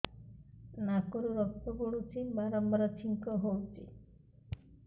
ନାକରୁ ରକ୍ତ ପଡୁଛି ବାରମ୍ବାର ଛିଙ୍କ ହଉଚି